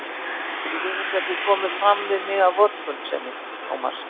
Ég vil ekki að þú komir fram við mig af vorkunnsemi, Tómas.